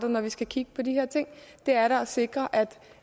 når vi skal kigge på de her ting det er da at sikre at